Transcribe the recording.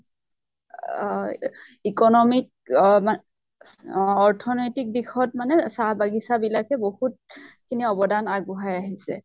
আ-হ economic অহ মা অৰ্থনৈতিক দিশত মানে চাহ বাগিছ বিলাকে বহুত খিনি অৱদান আগ বঢ়াই আহিছে।